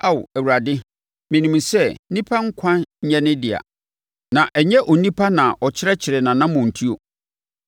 Ao Awurade, menim sɛ, onipa nkwa nyɛ ne dea; na ɛnyɛ onipa na ɔkyerɛkyerɛ nʼanammɔntuo.